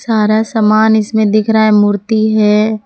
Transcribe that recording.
सारा सामान इसमें दिख रहा है मूर्ति है।